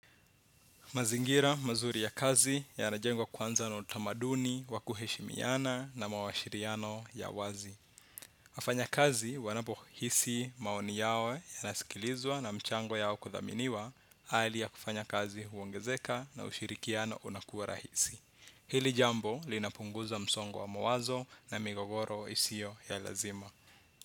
Mazingira mazuri ya kazi yanajengwa kwanza na utamaduni, wa kuheshimiana na mawashiriano ya wazi. Wafanyakazi wanapohisi maoni yao yanasikilizwa na mchango yao kuthaminiwa, hali ya kufanya kazi huongezeka na ushirikiano unakuwa rahisi. Hili jambo linapunguza msongo wa mawazo na migogoro isio ya lazima.